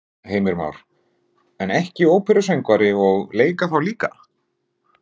Heimir Már: En ekki óperusöngvari og leika þá líka?